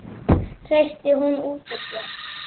hreytti hún út úr sér.